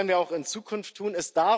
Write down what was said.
Das werden wir auch in Zukunft tun.